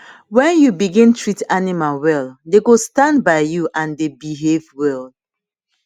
wen u begin treat animal well dey go stand by you and dey behave well